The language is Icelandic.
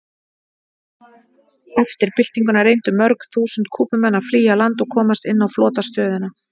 Eftir byltinguna reyndu mörg þúsund Kúbumenn að flýja land og komast inn á flotastöðina.